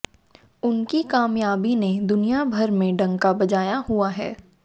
उनकी कामयाबी ने दुनियाभर में डंका बजाया हुआ है